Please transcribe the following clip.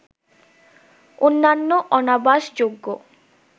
অন্যান্য অনাবাসযোগ্য